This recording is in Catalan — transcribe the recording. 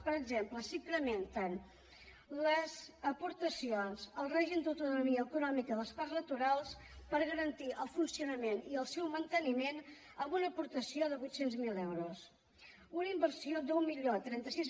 per exemple s’incrementen les aportacions al règim d’autonomia econòmica dels parcs naturals per garantir ne el funcionament i el manteniment amb una aportació de vuit cents miler euros i una inversió d’deu trenta sis